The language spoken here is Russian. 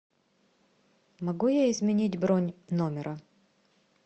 могу я изменить бронь номера